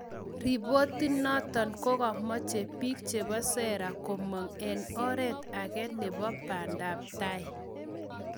Ripotinoton Kogomache pik chepo sera komoNg ag oret age nepo bandap tai.